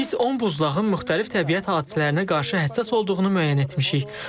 Biz 10 buzlağın müxtəlif təbiət hadisələrinə qarşı həssas olduğunu müəyyən etmişik.